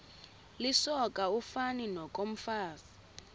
lisoka ufani nokomfazi